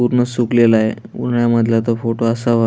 पूर्ण सुकलेलाय उन्हाळया मधला तो फोटो असावा.